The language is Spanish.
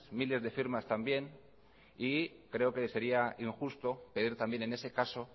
miles de firmas también y creo que sería injusto pedir también en ese caso